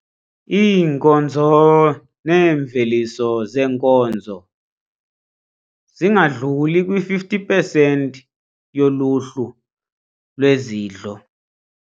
Iinkonzo neemveliso zeenkonzo zingadluli kwi-50 pesenti yoluhlu lwezidlo.